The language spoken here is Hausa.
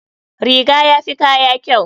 Riga yafi kaya kyau.